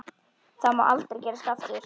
Það má aldrei gerast aftur.